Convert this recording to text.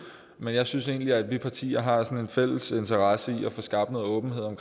men jeg synes egentlig at vi partier har en fælles interesse i at få skabt åbenhed om